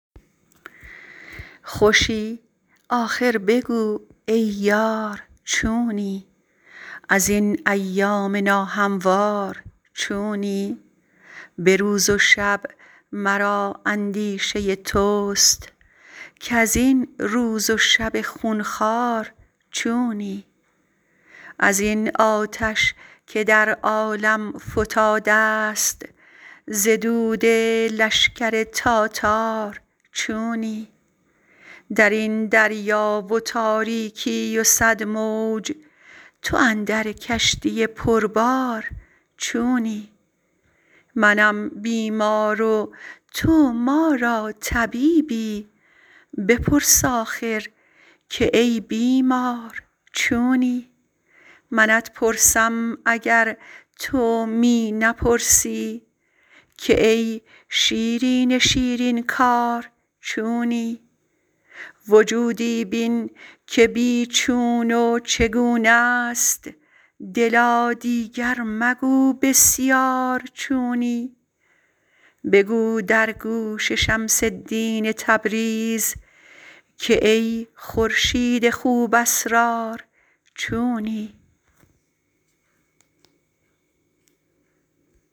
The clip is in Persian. خوشی آخر بگو ای یار چونی از این ایام ناهموار چونی به روز و شب مرا اندیشه توست کز این روز و شب خون خوار چونی از این آتش که در عالم فتاده ست ز دود لشکر تاتار چونی در این دریا و تاریکی و صد موج تو اندر کشتی پربار چونی منم بیمار و تو ما را طبیبی بپرس آخر که ای بیمار چونی منت پرسم اگر تو می نپرسی که ای شیرین شیرین کار چونی وجودی بین که بی چون و چگونه ست دلا دیگر مگو بسیار چونی بگو در گوش شمس الدین تبریز که ای خورشید خوب اسرار چونی